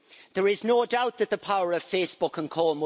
There is no doubt that the power of Facebook co.